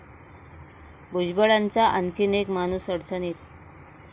भुजबळांचा आणखी एक 'माणूस'अडचणीत